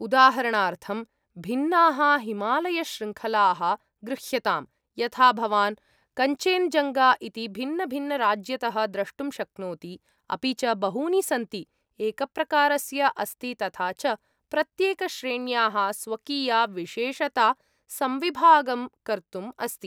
उदाहरणार्थं भिन्नाः हिमालयशृङ्खलाः गृह्यताम् यथा भवान् कञ्चेनजङ्गा इति भिन्नभिन्नराज्यतः द्रष्टुं शक्नोति, अपि च बहूनि सन्ति, एकप्रकारस्य अस्ति तथा च प्रत्येकश्रेण्याः स्वकीया विशेषता संविभागं कर्तुम् अस्ति।